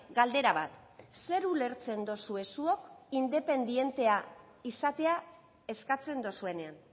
galdera bat zer ulertzen duzue zuok independentea izatea eskatzen duzuenean